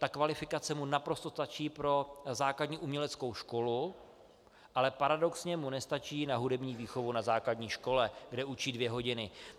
Ta kvalifikace mu naprosto stačí pro základní uměleckou školu, ale paradoxně mu nestačí na hudební výchovu na základní škole, kde učí dvě hodiny.